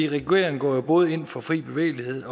regeringen går jo både ind for fri bevægelighed